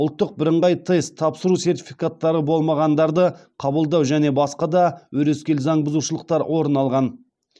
ұлттық бірыңғай тест тапсыру сертификаттары болмағандарды қабылдау және басқа да өрескел заң бұзушылықтар орын алған